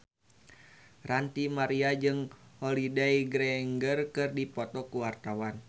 Ranty Maria jeung Holliday Grainger keur dipoto ku wartawan